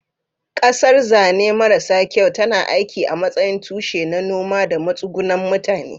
Ƙasar, zane maras kyau, tana aiki a matsayin tushe na noma da matsugunan mutane.